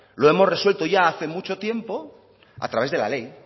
lo hemos resuelto ya hace mucho tiempo a través de la ley